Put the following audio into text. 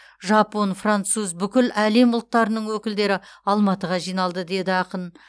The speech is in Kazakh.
жапон француз бүкіл әлем ұлттарының өкілдері алматыға жиналды деді ақын